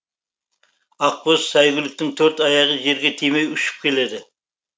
ақбоз сәйгүліктің төрт аяғы жерге тимей ұшып келеді